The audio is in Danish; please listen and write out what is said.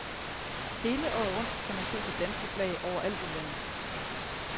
Hele året rundt kan man se danske flag overalt i landet.